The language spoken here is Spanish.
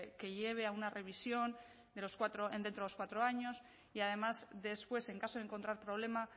que lleve a una revisión de los dentro los cuatro años y además después en caso de encontrar problema